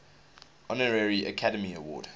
honorary academy award